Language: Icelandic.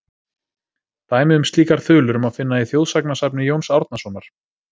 Dæmi um slíkar þulur má finna í þjóðsagnasafni Jóns Árnasonar:.